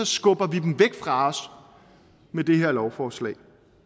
skubber vi dem væk fra os med det her lovforslag